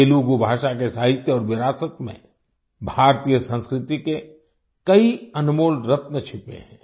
तेलुगू भाषा के साहित्य और विरासत में भारतीय संस्कृति के कई अनमोल रत्न छिपे हैं